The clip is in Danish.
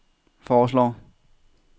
foreslår